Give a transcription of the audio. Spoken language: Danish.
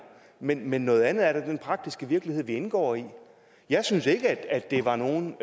men men noget andet er så den praktiske virkelighed vi indgår i jeg synes ikke at det var nogen